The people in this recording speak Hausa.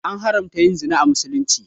An haramta yin zina a misulumci